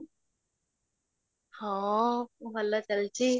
ହଁ, ଭଲ ଚାଲିଛି